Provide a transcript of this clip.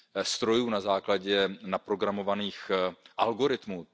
strojů na základě naprogramovaných algoritmů.